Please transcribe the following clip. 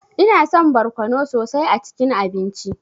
Ina son barkono sosai a cikin abinci.